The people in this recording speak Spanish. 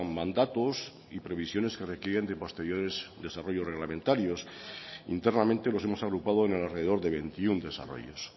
mandatos y previsiones que requieren de posteriores desarrollos reglamentarios internamente los hemos agrupado en alrededor de veintiuno desarrollos